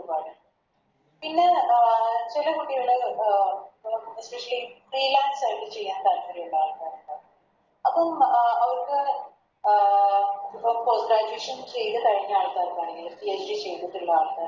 പിന്നെ അഹ് ചെല കുട്ടികള് അഹ് Officially free lance ചെയ്യാ താൽപ്പര്യള്ള ആൾക്കരിണ്ടാവും അപ്പം Post graduation ചെയ്ത കഴിഞ്ഞ ആൾക്കാർക്കാണെങ്കിലും PhD ചെയ്തിട്ട്ള്ള ആൾക്കാർക്ക്